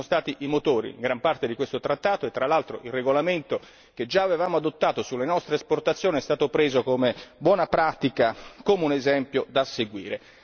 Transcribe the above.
Noi siamo stati i motori in gran parte di questo trattato e, tra l'altro, il regolamento, che già avevamo adottato sulle nostre esportazioni, è stato preso come buona pratica, come un esempio da seguire.